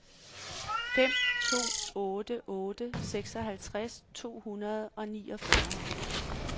fem to otte otte seksoghalvtreds to hundrede og niogfyrre